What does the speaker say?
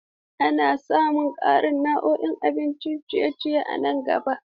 Za a samar da ƙarin nau'ikan abincin ciye-ciye a nan gaba.